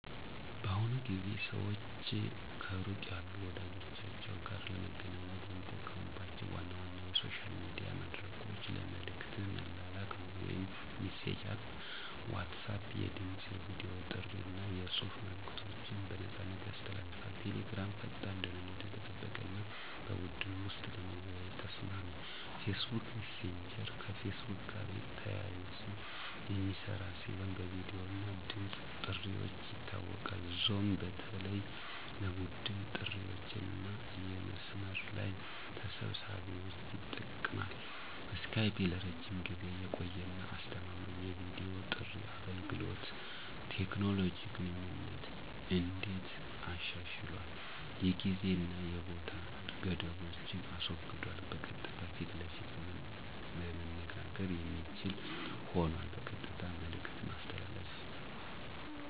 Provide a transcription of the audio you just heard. በአሁኑ ጊዜ ሰዋች ከሩቅ ያሉ ወዳጀቻችዉ ጋር ለመገናኘት የሚጠቀሙባቸው ዋና ዋና የሶሻል ሚዲያ መድረኮች ለመልእክት መላላክ (messaging Apps) WhatsApp የድምፅ፣ የቨዲ ጥሪ አና የጽሑፍ መልእከቶችን በነፃያሰ ያስተላልፋል። Telegram ፈጣን፣ ደህንነቱ የተጠበቀ አና በቡድን ወሰጥ ለመወያየት ተሰማሚ። Facebook messager ከፌስቡክ ጋር ተያይዘ የሚስራ ሲሆን በቪዲዮ እና ድምፅ ጥርዋች ይታወቃል። zoom በተለይ ለቡድን ጥሪዋችአና የመስመር ለይ ተሰብሳቢዎች ይጠቅማል። skype ለረጅም ጊዜ የቆየ አና አስተማማኝ የቪዲዮ ጥሪ አገልገሎት። ቴኮኖሎጂ ግንኙነትን እንዴት አሻሽሏል የጊዜ አና የቦታ ገደቦችን አስወግዷል በቀጥታ ፈት ለፈት መነጋገር የሚችል ሆኗል። በቀጥታ መልእክት ማስተላለፍ